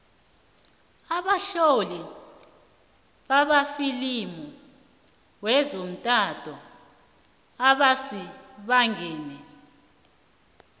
abatloli bamafilimu wezothando abasibangengi